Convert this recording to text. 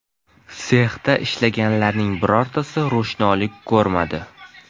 Sexda ishlaganlarning birortasi ro‘shnolik ko‘rmadi.